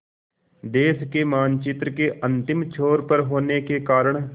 देश के मानचित्र के अंतिम छोर पर होने के कारण